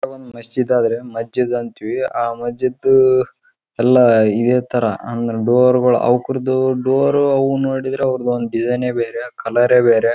ಅವರ್ನ್ ನೋಡಿದ್ರ ಅಂದ್ರ ಮುಸ್ಲಿಂ ಮಸ್ಜಿದ್ ಕಟದೆ ಅವರ್ದ ಒಂದು ಸ್ಟ್ರಕ್ಚರ್ ಇರ್ತದ ಅದು ಅವರ್ದೇ ಅವರ್ದೆ ಅದಂತ ಒಂದು ಅಲಂಕಾರ ಇರ್ತದ ಅದು ನೋಡಣ ಗೊತ್ತಾಗಿಬಿಡ್ತದ ಇದು ಮುಸ್ಲಿಂ ದೆ ಅಂತ.